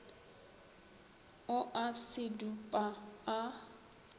o a se dupa a